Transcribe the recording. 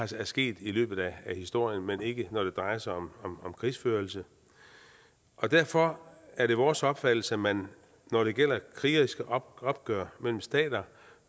til er sket i løbet af historien men ikke når det drejer sig om krigsførelse derfor er det vores opfattelse at man når det gælder krigeriske opgør mellem stater